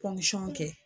kɛ